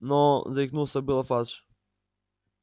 но заикнулся было фадж